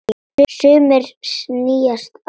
Sumir sýnast á floti.